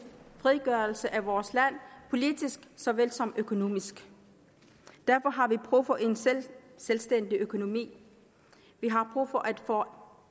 frigørelse af vores land politisk såvel som økonomisk derfor har vi brug for en selvstændig økonomi vi har brug for at få